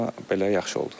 Amma belə yaxşı oldu.